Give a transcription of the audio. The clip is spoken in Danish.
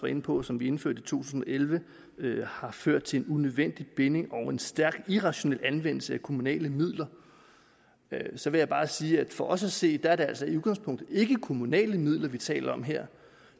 inde på og som vi indførte i to tusind og elleve har ført til en unødvendig binding og en stærkt irrationel anvendelse af kommunale midler så vil jeg bare sige at for os at se er det altså i udgangspunktet ikke kommunale midler vi taler om her